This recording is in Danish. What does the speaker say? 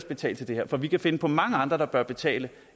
betale til det her for vi kan finde på mange andre der bør betale